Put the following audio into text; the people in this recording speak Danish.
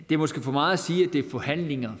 det måske for meget at sige at det er forhandlinger